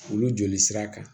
Olu joli sira kan